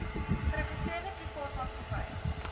geregistreerde privaat maatskappye